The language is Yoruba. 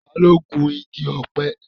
Ta ló gun igi ọ̀pẹ?